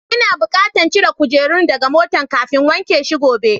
N'na bukatan cire kujerun daga motan kafin wanke shi gobe.